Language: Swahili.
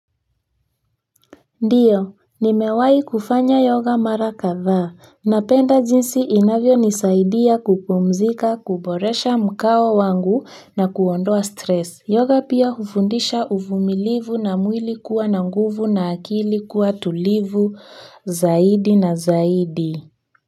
Ndio nimewahi kufanya yoga mara kadhaa. Napenda jinsi inavyo nisaidia kupumzika, kuboresha mkao wangu na kuondoa stress. Yoga pia hufundisha uvumilivu na mwili kuwa na nguvu na akili kuwa tulivu zaidi na zaidi.